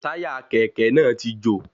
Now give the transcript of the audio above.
Táyà Kẹ̀kẹ́ náà ti jò.